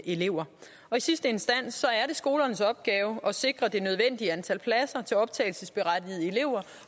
elever i sidste instans er det skolernes opgave at sikre det nødvendige antal pladser til optagelsesberettigede elever